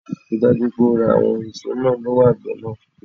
Ríi dájú pé o ra àwọn èso náà lówó àgbè náà